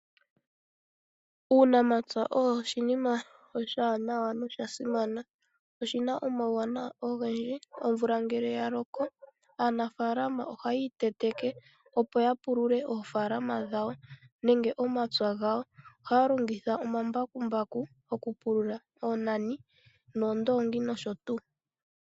Uunamapya osho oshinima oshiwanawa nosha simana. Oshina omauwanawa ogendji. Omvula ngele ya loko aanafaalama ohaya iteteke opo ya pulule oofaalama dhawo nenge omapya gawo . Ohaya longitha omambakumbaku okupulula , oonani, oondoongi nosho tuu.